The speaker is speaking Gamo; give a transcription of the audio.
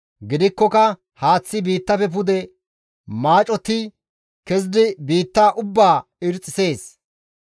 Gidikkoka haaththi biittafe pude maacotti kezidi biitta ubbaa irxxisees.